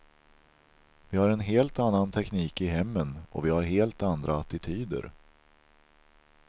Vi har en helt annan teknik i hemmen och vi har helt andra attityder.